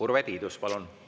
Urve Tiidus, palun!